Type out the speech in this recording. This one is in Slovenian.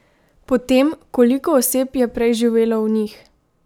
Po tem, koliko oseb je prej živelo v njih?